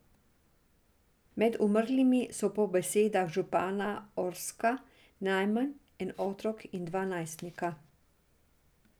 Med umrlimi so po besedah župana Orska najmanj en otrok in dva najstnika.